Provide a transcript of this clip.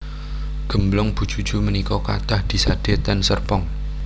Gemblong Bu Juju menika kathah disade ten Serpong